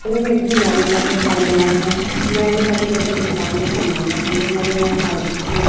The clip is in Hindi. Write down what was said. दिखाई दे रहा है मेरे को दुकान में समान रखा दिखाई दे रहा है अ--